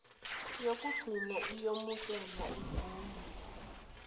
yokugcina iyomukelwa ivunywe